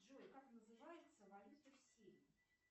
джой как называется валюта в сирии